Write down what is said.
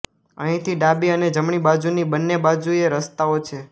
અહીંથી ડાબી અને જમણી બાજુની બંને બાજુએ રસ્તાઓ છે